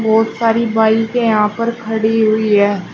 बहोत सारी बाईके यहां पर खड़ी हुई है।